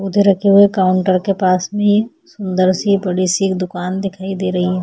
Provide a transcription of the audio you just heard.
उधर रखे हुए काऊंटर के पास मे सुंदर सी बड़ी सी एक दुकान दिकाई दे रही है।